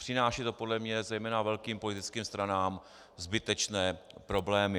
Přináší to podle mne zejména velkým politickým stranám zbytečné problémy.